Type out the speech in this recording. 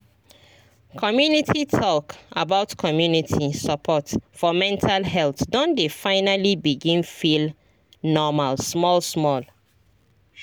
community talk about community support for mental health don dey finally begin feel normal small small